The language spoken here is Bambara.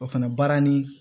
O fɛnɛ baara ni